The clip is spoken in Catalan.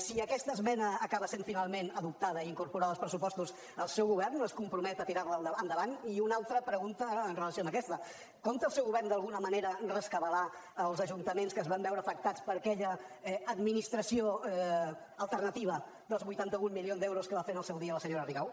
si aquesta esmena acaba sent finalment adoptada i incorporada als pressupostos el seu govern es compromet a tirar la endavant i una altra pregunta en relació amb aquesta compta el seu govern d’alguna manera rescabalar els ajuntaments que es van veure afectats per aquella administració alternativa dels vuitanta un milions d’euros que va fer en el seu dia la senyora rigau